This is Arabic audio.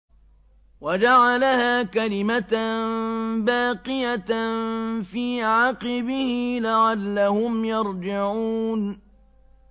وَجَعَلَهَا كَلِمَةً بَاقِيَةً فِي عَقِبِهِ لَعَلَّهُمْ يَرْجِعُونَ